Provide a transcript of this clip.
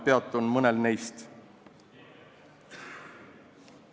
Peatun mõnel neist lähemalt.